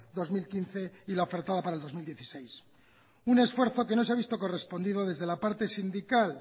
dos mil quince y la ofertada para el dos mil dieciséis un esfuerzo que no se ha visto correspondido desde la parte sindical